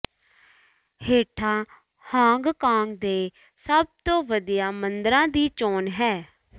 ਹੇਠਾਂ ਹਾਂਗਕਾਂਗ ਦੇ ਸਭ ਤੋਂ ਵਧੀਆ ਮੰਦਰਾਂ ਦੀ ਚੋਣ ਹੈ